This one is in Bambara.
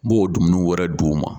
N b'o dumuni wɛrɛ di' ma